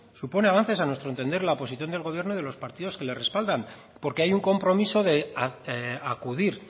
supone avances a nuestro entender la oposición del gobierno y de los partidos que le respaldan porque hay un compromiso de acudir